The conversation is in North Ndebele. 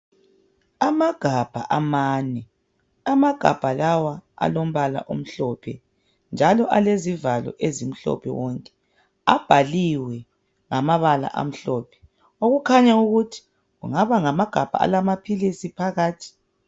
Amagabha amane, amagabha lawa alombala omhlophe njalo alezivalo ezimhlophe wonke. Abhaliwe ngamabala amhlophe, okukhanya ukuthi kungaba ngamagabha alamaphilisi phakathi.